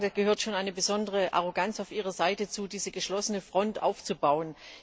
Da gehört schon eine besondere Arroganz auf Ihrer Seite dazu, diese geschlossene Front aufzubauen.